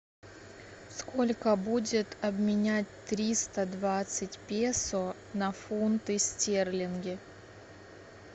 сколько будет обменять триста двадцать песо на фунты стерлинги